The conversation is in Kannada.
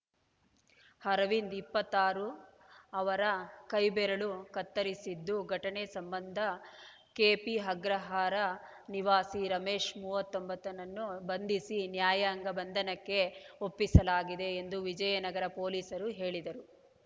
ಅರವಿಂದ್‌ ಇಪ್ಪತ್ತಾರು ಅವರ ಕೈ ಬೆರಳು ಕತ್ತರಿಸಿದ್ದು ಘಟನೆ ಸಂಬಂಧ ಕೆಪಿಅಗ್ರಹಾರ ನಿವಾಸಿ ರಮೇಶ್‌ ಮೂವತ್ತೊಂಬತ್ತುನನ್ನು ಬಂಧಿಸಿ ನ್ಯಾಯಾಂಗ ಬಂಧನಕ್ಕೆ ಒಪ್ಪಿಸಲಾಗಿದೆ ಎಂದು ವಿಜಯನಗರ ಪೊಲೀಸರು ಹೇಳಿದರು